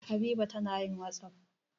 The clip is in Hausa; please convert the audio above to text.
Habiba tana yin wasapp.